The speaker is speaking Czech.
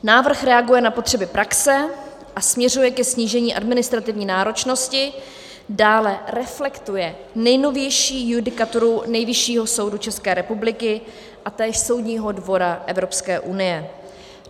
Návrh reaguje na potřeby praxe a směřuje ke snížení administrativní náročnosti, dále reflektuje nejnovější judikaturu Nejvyššího soudu České republiky a též Soudního dvora Evropské unie.